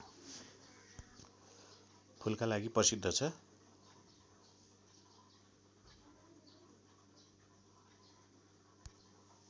फूलका लागि प्रसिद्ध छ